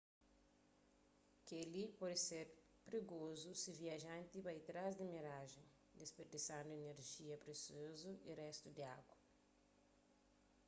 kel-li pode ser prigozu si viajanti bai trás di mirajen disperdisandu inerjia presiozu y réstu di agu